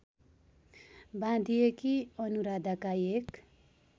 बाँधिएकी अनुराधाका एक